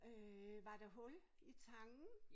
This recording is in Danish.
Øh var der hul i tangen?